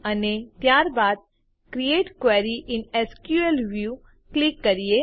અને ત્યારબાદ create query in SQL view click કરીએ